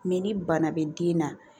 Mɛ ni bana bɛ den na